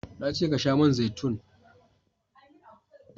na ce ka sha man zaitun!